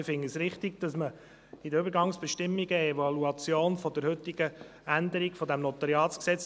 Wir finden es richtig, dass man in den Übergangsbestimmungen eine Evaluation der heutigen Änderung des NG vorsieht.